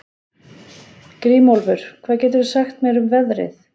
Grímólfur, hvað geturðu sagt mér um veðrið?